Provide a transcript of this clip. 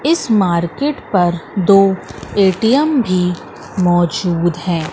इस मार्केट पर दो ए_टी_एम भी मौजूद हैं।